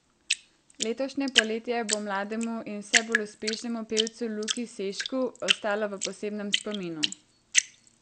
Letošnje poletje bo mlademu in vse bolj uspešnemu pevcu Luki Sešku ostalo v posebnem spominu.